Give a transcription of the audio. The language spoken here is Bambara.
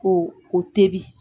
Ko o tebi